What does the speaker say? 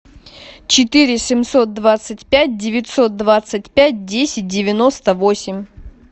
четыре семьсот двадцать пять девятьсот двадцать пять десять девяносто восемь